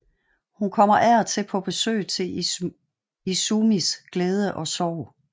Hun kommer af og til på besøg til Izumis glæde og sorg